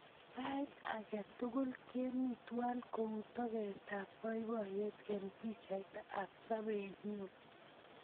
Sait ake tukul kemi twai kou toketap poipoyet eng' pichaiyat ap sobennyu.